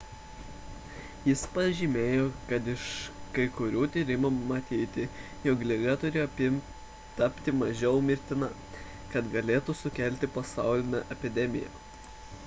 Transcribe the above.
jis pažymėjo kad iš kai kurių tyrimų matyti jog liga turi tapti mažiau mirtina kad galėtų sukelti pasaulinę epidemiją